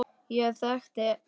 Ég þekkti enga.